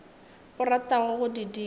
o ratago go di dira